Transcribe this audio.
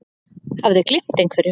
Hafði gleymt einhverju.